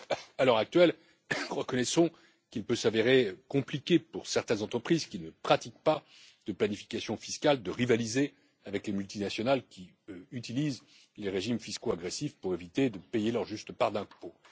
À l'heure actuelle, reconnaissons qu'il peut s'avérer compliqué pour certaines entreprises qui ne pratiquent pas de planification fiscale de rivaliser avec les multinationales qui utilisent les régimes fiscaux agressifs pour éviter de payer leur juste part d'impôts.